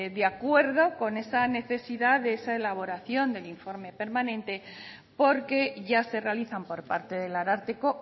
de acuerdo con esa necesidad de esa elaboración del informe permanente porque ya se realizan por parte del ararteko